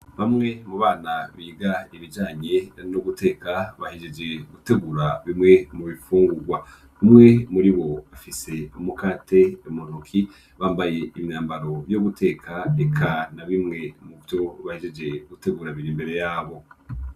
Bamwe mu bana biga ibijanye no guteka bahegeje gutegura bimwe mu bifungurwa. Umwe muri bo afise umukate munoki, bambaye imyambaro yo guteka eka na bimwe mu vyo bahejeje gutegura biri imbere yabo.